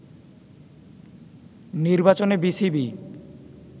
নির্বাচনে বিসিবি